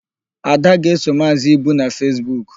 Ada ga-eso Maazị Ibu na Fesbuk.